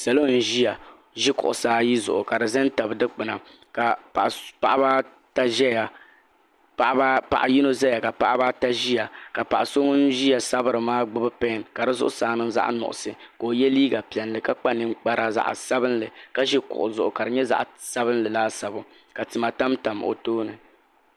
Salo n ʒi kuɣusi ayi zuɣu n tabi dikpina paɣaba ata ʒɛya paɣa yino ʒia ka paɣaba ata zaya paɣa so ŋun ʒia sabiri maa gbibila pen ka di zuɣusaa maa niŋ zaɣa nuɣuso ka o ye liiga piɛlli ka kpa ninkpara zaɣa sabinli ka ʒi kuɣu zuɣu ka di nyɛ zaɣa sabinli laasabu ka tima tam tam o tooni.